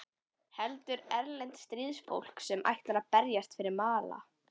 Heldur erlent stríðsfólk sem ætlar að berjast fyrir mála.